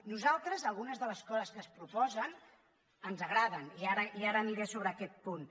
nosaltres algunes de les coses que es proposen ens agraden i ara aniré sobre aquest punt